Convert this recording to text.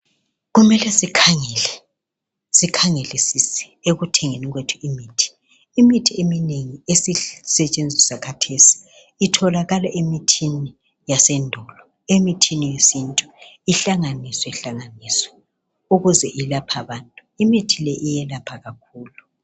Kumele sikhangele, sikhangelisise ekuthengeni kwethu imithi. Imithi eminengi ezisetshenziswa khathesi itholakala emithini yasendulo, emithini yesintu, ihlanganiswehlanganiswe ukuze ilaphe abantu. Imithi le iyelapha kakhulu.